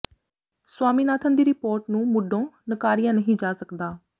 ਸਵਾਮੀਨਾਥਨ ਦੀ ਰਿਪੋਰਟ ਨੂੰ ਮੁੱਢੋਂ ਨਕਾਰਿਆ ਨਹੀਂ ਜਾ ਸਕਦਾ